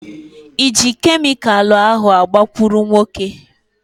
Ị ji kemịkalụ ahu maka agbakụrụnwokē?